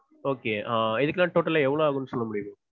okay. ஆஹ் இதுக்கெல்லாம் totall ஆ எவ்ளோ ஆகும்னு சொல்ல முடியுமா?